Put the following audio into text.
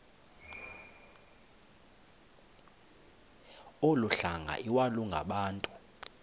olu hlanga iwalungabantu